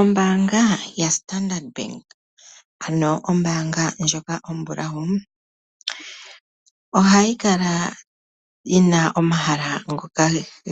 Ombaanga ya standard bank ombaanga ndjoka ombulawu. Ohayi kala yina omahala ngoka